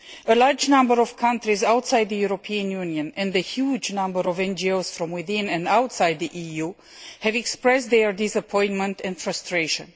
A large number of countries outside the European Union and a huge number of NGOs from within and outside the EU expressed their disappointment and frustration.